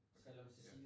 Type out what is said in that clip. Okay ja